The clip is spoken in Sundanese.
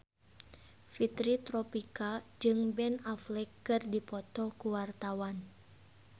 Fitri Tropika jeung Ben Affleck keur dipoto ku wartawan